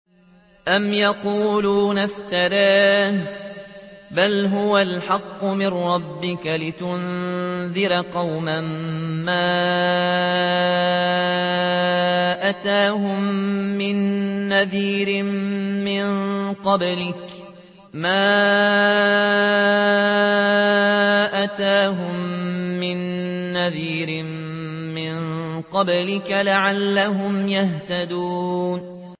أَمْ يَقُولُونَ افْتَرَاهُ ۚ بَلْ هُوَ الْحَقُّ مِن رَّبِّكَ لِتُنذِرَ قَوْمًا مَّا أَتَاهُم مِّن نَّذِيرٍ مِّن قَبْلِكَ لَعَلَّهُمْ يَهْتَدُونَ